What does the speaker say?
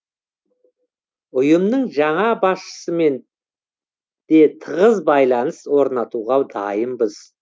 ұйымның жаңа басшысымен де тығыз байланыс орнатуға дайынбыз